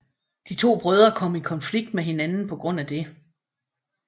De to brødre kom i konflikt med hinanden på grund af det